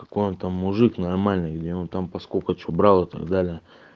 какой-то мужик нормальный где он там по сколько чего брал и так далее